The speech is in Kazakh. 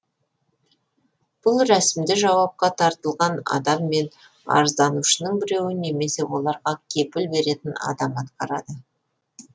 бұл рәсімді жауапқа тартылған адам мен арызданушының біреуі немесе оларға кепіл беретін адам атқарады